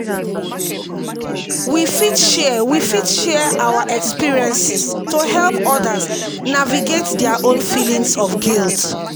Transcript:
we fit share we fit share our experiences to help others navigate their own feelings of guilt.